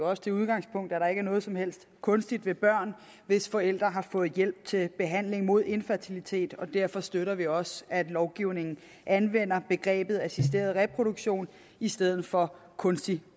også det udgangspunkt at der ikke er noget som helst kunstigt ved børn hvis forældre har fået hjælp til behandling mod infertilitet og derfor støtter vi også at lovgivningen anvender begrebet assisteret reproduktion i stedet for kunstig